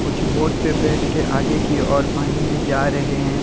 कुछ बोट पे बैठ के आगे की ओर पानी में जा रहे हैं।